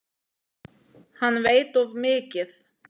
Hann veit of mikið.